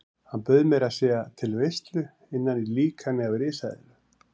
Hann bauð meira að segja til veislu innan í líkani af risaeðlu.